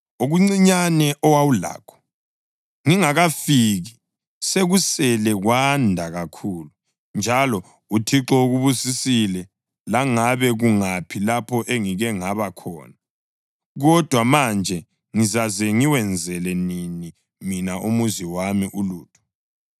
Okuncinyane owawulakho ngingakafiki sekusele kwanda kakhulu, njalo uThixo ukubusisile langabe kungaphi lapho engike ngaba khona. Kodwa manje ngizaze ngiwenzele nini mina umuzi wami ulutho?”